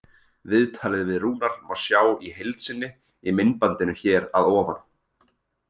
Viðtalið við Rúnar má sjá í heild sinni í myndbandinu hér að ofan.